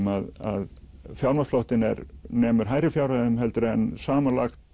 að fjármagnsflóttinn nemur hærri fjárhæðum en samanlögð